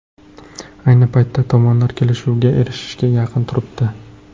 Ayni paytda tomonlar kelishuvga erishishga yaqin turibdi.